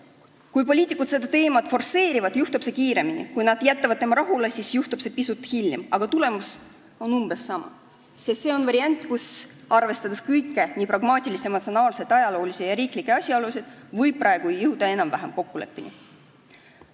Kui poliitikud seda teemat forsseerivad, juhtub see kiiremini, kui nad jätavad selle teema rahule, siis juhtub see pisut hiljem, aga tulemus on umbes sama, sest see on variant, mis võimaldab, arvestades kõiki pragmaatilisi, emotsionaalseid, ajaloolisi ja riiklikke asjaolusid, jõuda praegu enam-vähem kokkuleppele.